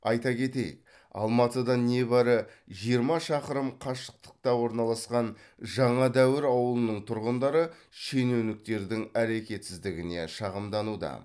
айта кетейік алматыдан небәрі жиырма шақырым қашықтықта орналасқан жаңадәуір ауылының тұрғындары шенеуніктердің әрекетсіздігіне шағымдануда